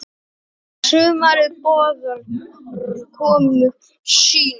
Sumarið boðar komu sína.